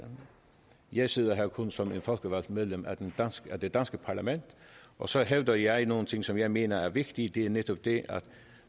jeg sidder her kun som et folkevalgt medlem af det danske parlament og så hævder jeg nogle ting som jeg mener er vigtige og det er netop det at